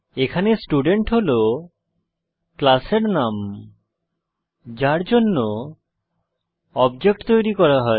এখানে স্টুডেন্ট হল ক্লাসের নাম যার জন্য অবজেক্ট তৈরী করা হয়